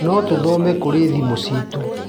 No tũthome kũrĩ thimũ citũ.